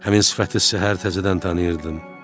Həmin sifəti səhər təzədən tanıyırdım.